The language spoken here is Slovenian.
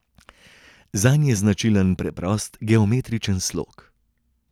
Zanj je značilen preprost geometrični slog.